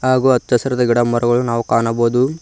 ಹಾಗು ಹಚ್ಚ ಹಸಿರಿದ ಗಿಡ ಮರಗಳು ನಾವು ಕಾಣಬಹುದು.